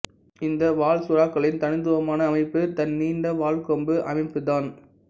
இந்த வாள் சுறாக்களின் தனித்துவமான அமைப்பு தன் நீண்ட வாள் கொம்பு அமைப்புதான்